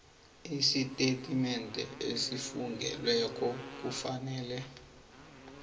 isitatimende esifungelweko kufanele